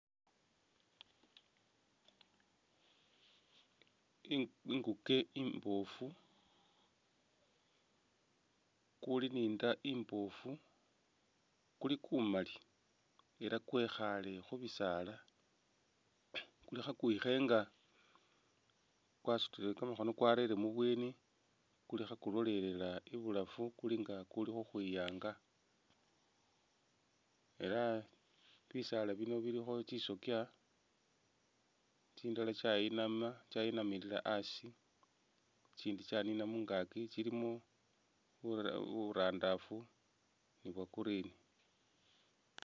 Inguke imboofu, kuli ne inda imboofu kuli kumaali ela kwekhaale khubisaala, kuli khakwikhenga kwasutile kamakhono kwarere ibweni kuli khakulolelela ibulaafu kuli nga kukuuli ukhwiyanga ela bisaala bino bilikho tsisokya tsindala tsayinamila asi tsitsindi tsanina mungaaki, tsilimo burandaafu ne bwa green.